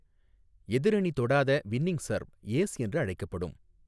எதிரணி தொடாத winning serve 'ace' என்று அழைக்கப்படும்.